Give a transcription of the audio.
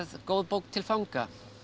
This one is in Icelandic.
góð bók til fanga